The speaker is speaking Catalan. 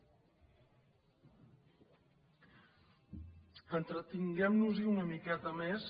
entretinguem nos hi una miqueta més